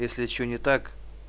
если что не так